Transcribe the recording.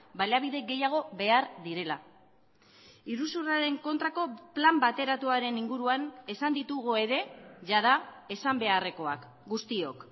baliabide gehiago behar direla iruzurraren kontrako plan bateratuaren inguruan esan ditugu ere jada esan beharrekoak guztiok